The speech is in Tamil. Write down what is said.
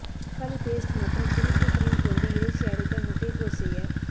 தக்காளி பேஸ்ட் மற்றும் புளிப்பு கிரீம் கொண்டு இறைச்சி அடைத்த முட்டைக்கோஸ் செய்ய